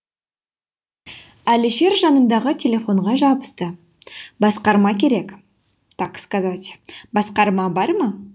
әлішер жанындағы телефонға жабысты басқарма керек так сказать басқарма ма